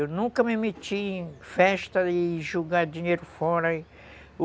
Eu nunca me meti em festa e jogar dinheiro fora.